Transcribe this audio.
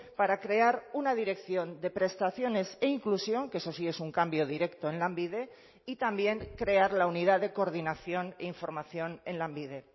para crear una dirección de prestaciones e inclusión que eso sí es un cambio directo en lanbide y también crear la unidad de coordinación e información en lanbide